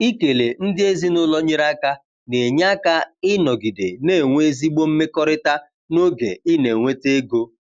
Ikele ndị ezinụlọ nyere aka na-enye aka ịnọgide na-enwe ezigbo mmekọrịta n’oge ị na-enweta ego.